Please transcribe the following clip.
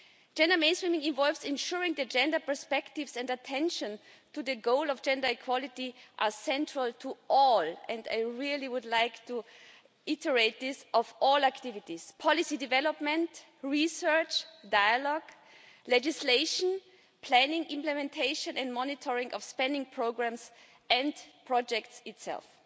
Gender mainstreaming involves ensuring that gender perspectives and attention to the goal of gender equality are central to all and I would really would like to reiterate this activities policy development, research, dialogue, legislation, planning, implementation and monitoring of spending programmes and projects themselves.